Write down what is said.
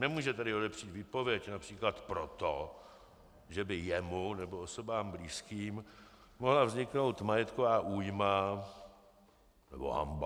Nemůže tedy odepřít výpověď například proto, že by jemu nebo osobám blízkým mohla vzniknout majetková újma nebo hanba.